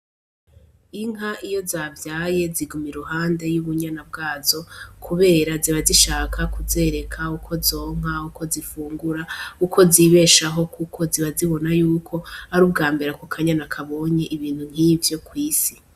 Inka iyo zavyaye ziguma i ruhande y'ubunyana bwazo, kubera zibazishaka kuzereka uko zonka uko zifungura uko zibeshaho, kuko ziba zibona yuko ari ubwa mbera ku kanyana kabonye ibintu nk'ivyo kw'isi.